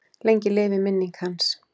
Lengi lifi minning hans.